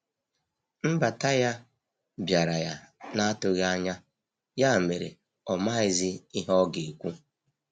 Nbata ya biara ya na atughi anya ya mere ọ maghi zi ihe ọga ekwụ.